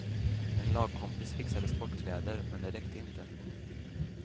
En lagkompis fixade sportkläder, men det räckte inte.